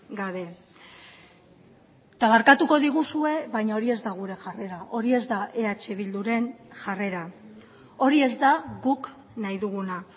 gabe eta barkatuko diguzue baina hori ez da gure jarrera hori ez da eh bilduren jarrera hori ez da guk nahi duguna